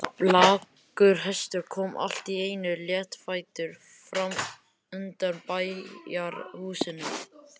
Blakkur hestur kom allt í einu léttfættur fram undan bæjarhúsunum.